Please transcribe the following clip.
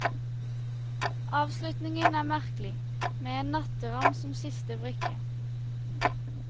Avslutningen er merkelig, med en natteravn som siste brikke.